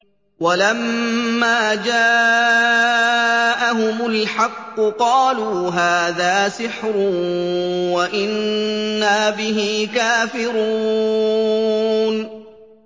وَلَمَّا جَاءَهُمُ الْحَقُّ قَالُوا هَٰذَا سِحْرٌ وَإِنَّا بِهِ كَافِرُونَ